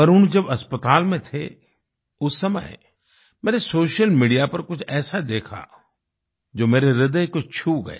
वरुण जब अस्पताल में थे उस समय मैंने सोशल मीडिया पर कुछ ऐसा देखा जो मेरे ह्रदय को छू गया